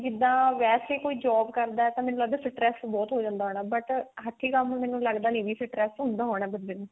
ਜਿੱਦਾਂ ਵੇਸੇ ਕੋਈ job ਕਰਦਾ ਤਾਂ ਮੈਨੂੰ ਲੱਗਦਾ stress ਬਹੁਤ ਹੋ ਜਾਂਦਾ ਹੋਣਾ but ਹੱਥੀ ਕੰਮ ਮੈਨੂੰ ਲੱਗਦਾ ਨੀ ਵੀ stress ਹੁੰਦਾ ਹੋਣਾ ਬੰਦੇ ਨੂੰ